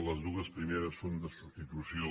les dues primeres són de substitució